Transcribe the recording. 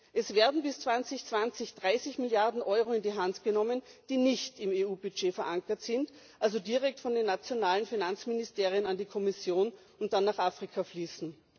Bis 2020 werden 30 Milliarden Euro in die Hand genommen, die nicht im EU Budget verankert sind also direkt von den nationalen Finanzministerien an die Kommission und dann nach Afrika fließen.